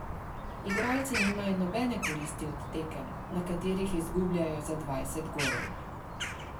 Igralci nimajo nobene koristi od tekem, na katerih izgubljajo za dvajset golov.